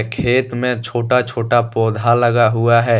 खेत में छोटा छोटा पौधा लगा हुआ है।